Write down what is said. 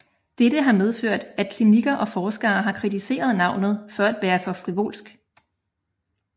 Dette har medført at klinikker og forskere har kritiseret navnet for at være for frivolsk